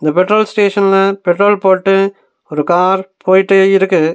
Petrol ஸ்டேஷன்ல petrol போட்டு ஒரு கார் போயிட்டேயிருக்குது.